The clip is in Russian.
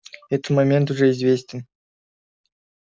этот момент уже известен